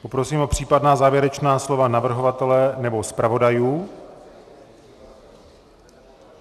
Poprosím o případná závěrečná slova navrhovatele nebo zpravodajů.